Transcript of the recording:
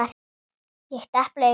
Ég depla augunum hratt.